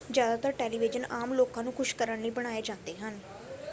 ਜ਼ਿਆਦਾਤਰ ਟੈਲੀਵੀਜ਼ਨ ਆਮ ਲੋਕਾਂ ਨੂੰ ਖੁਸ਼ ਕਰਨ ਲਈ ਬਣਾਏ ਜਾਂਦੇ ਹਨ